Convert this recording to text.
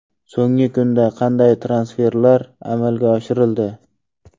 So‘nggi kunda qanday transferlar amalga oshirildi?.